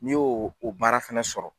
N'i y'o o baara fana sɔrɔ.